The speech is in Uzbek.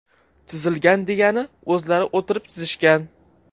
Chizilgan degani o‘zlari o‘tirib chizishgan.